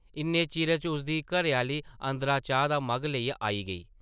इन्ने चिरै च उसदी घरै-आह्ली अंदरा चाह् दा मग्घ लेइयै आई गेई ।